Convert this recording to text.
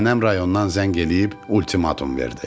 Nənəm rayondan zəng eləyib ultimatum verdi.